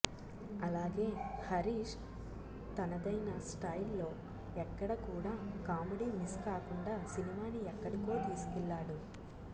అలాగే హరీష్ తనదయిన స్టయిల్ లో ఎక్కడ కూడా కామెడీ మిస్ కాకుండా సినిమాని ఎక్కడికో తీసుకెళ్ళాడు